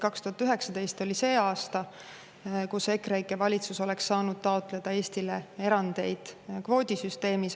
2019 oli see aasta, kui EKREIKE valitsus oleks saanud taotleda Eestile erandeid kvoodisüsteemis.